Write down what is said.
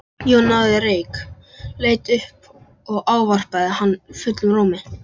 Jón náði reyk, leit upp og ávarpaði hann fullum rómi.